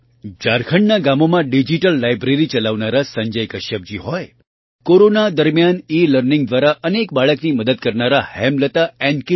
ઝારખંડનાં ગામોમાં digital library ચલાવનારા સંજય કશ્યપજી હોય કોરોના દરમિયાન ઇલર્નિંગ દ્વારા અનેક બાળકની મદદ કરનારાં હેમલતા એન